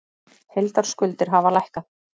Heildarskuldir hafa lækkað